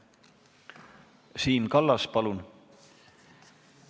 Siim Kallas, palun!